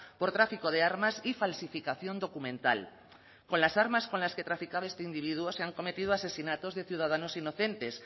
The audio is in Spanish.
por tráfico de armas y falsificación documental con las armas con las que traficaba este individuo se han cometido asesinatos de ciudadanos inocentes